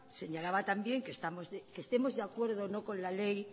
señalaba también que estemos de acuerdo o no con la ley